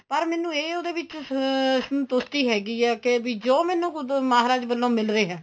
ਪਰ ਮੈਨੂੰ ਇਹ ਉਹਦੇ ਵਿੱਚ ਅਹ ਸੰਤੁਸਟੀ ਹੈਗੀ ਏ ਕੇ ਬੀ ਜੋ ਮੈਨੂੰ ਕੁੱਝ ਮਹਾਰਾਜ ਵਲੋ ਮਿਲ ਰਿਹਾ